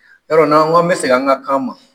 Yɔrɔ n'an kan bɛ segin an ka kan ma